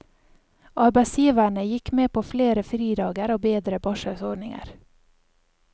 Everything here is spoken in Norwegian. Arbeidsgiverne gikk med på flere fridager og bedre barselsordninger.